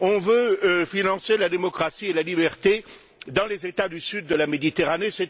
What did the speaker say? On veut financer la démocratie et la liberté dans les États du sud de la Méditerranée.